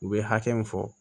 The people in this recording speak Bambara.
U bɛ hakɛ min fɔ